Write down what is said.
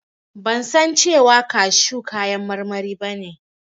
Ban san cewa kashu kayan marmari ba ne.